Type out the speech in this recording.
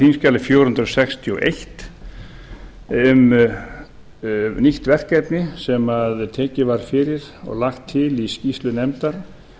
þingskjali fjögur hundruð sextíu og eitt um nýtt verkefni sem tekið var fyrir og lagt til í skýrslu nefndar